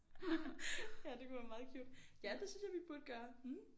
Ja det kunne være meget cute ja det synes jeg vi burde gøre